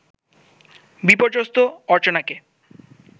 বিপর্যস্ত অর্চনাকে